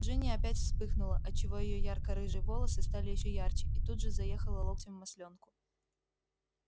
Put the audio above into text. джинни опять вспыхнула отчего её ярко-рыжие волосы стали ещё ярче и тут же заехала локтем в маслёнку